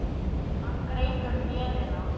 Hann greip um vélina.